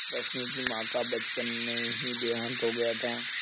रश्मि की माँ का बचपन में ही देहांत हो गया था